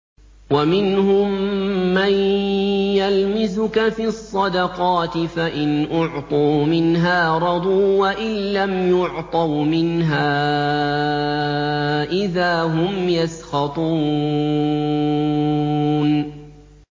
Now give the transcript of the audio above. وَمِنْهُم مَّن يَلْمِزُكَ فِي الصَّدَقَاتِ فَإِنْ أُعْطُوا مِنْهَا رَضُوا وَإِن لَّمْ يُعْطَوْا مِنْهَا إِذَا هُمْ يَسْخَطُونَ